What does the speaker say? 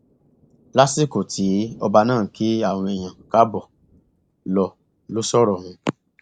lásìkò tí ọba náà ń kí àwọn èèyàn káàbọ lọ lọ sọrọ ọhún